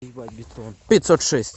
пятьсот шесть